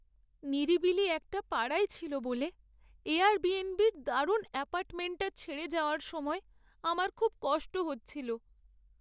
নিরিবিলি একটা পাড়ায় ছিল বলে এয়ারবিএনবি'র দারুণ অ্যাপার্টমেন্টটা ছেড়ে যাওয়ার সময় আমার খুব কষ্ট হচ্ছিল।